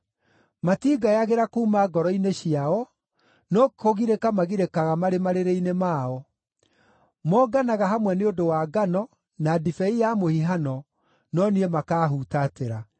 Matingayagĩra kuuma ngoro-inĩ ciao, no kũgirĩka magirĩkaga marĩ marĩrĩ-inĩ mao. Monganaga hamwe nĩ ũndũ wa ngano, na ndibei ya mũhihano, no niĩ makaahutatĩra.